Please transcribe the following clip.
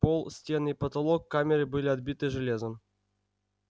пол стены и потолок камеры были обиты железом